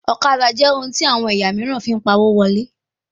Ọ̀kadà jẹ ohun tí àwọn ẹ̀yà míìràn fín pá owo wọlé